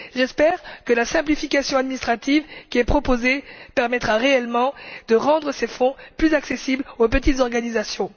J'espère que la simplification administrative qui est proposée permettra réellement de rendre ces fonds plus accessibles aux petites organisations.